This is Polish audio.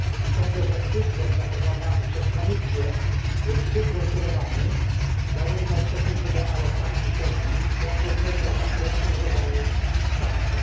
Sądzę, że system zaproponowany przez Komisję jest zbyt rozbudowany, zarówno w stosunku do alokacji środków, jak również do zakresu i rodzaju wsparcia.